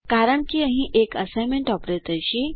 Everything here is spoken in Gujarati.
કારણ કે અહીં એક અસાઇનમેન્ટ ઓપરેટર છે